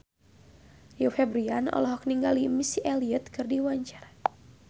Rio Febrian olohok ningali Missy Elliott keur diwawancara